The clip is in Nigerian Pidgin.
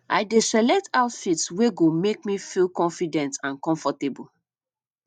i dey select outfit wey go make me feel confident and comfortable